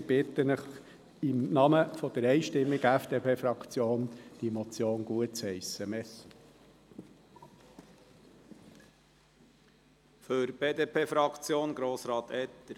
Wir bitten Sie im Namen der einstimmigen FDP-Fraktion diese Motion gutzuheissen.